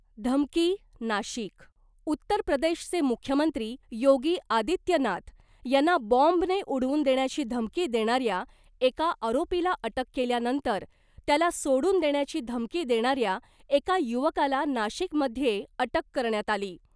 धमकी, नाशिक, उत्तर प्रदेशचे मुख्यमंत्री योगी आदित्यनाथ यांना बॉम्बने उडवून देण्याची धमकी देणाऱ्या एका आरोपीला अटक केल्यानंतर त्याला सोडून देण्याची धमकी देणाऱ्या एका युवकाला नाशिकमध्ये अटक करण्यात आली .